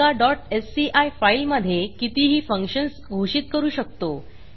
एका sci फाईलमधे कितीही फंक्शन्स घोषित करू शकतो